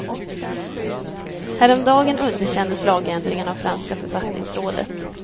Häromdagen underkändes lagändringen av franska författningsrådet.